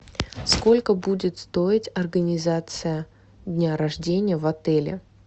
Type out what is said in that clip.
сколько будет стоить организация дня рождения в отеле